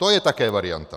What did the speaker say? To je také varianta.